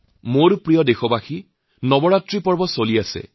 মোৰ প্ৰিয় দেশবাসী নবৰাত্ৰিৰ উৎসব আৰম্ভ হৈছে